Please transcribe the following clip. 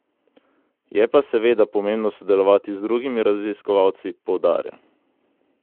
Je pa seveda pomembno sodelovati z drugimi raziskovalci, poudarja.